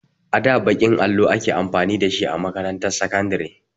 A da baƙin allo ake amfani da shi a makarantar sakandare.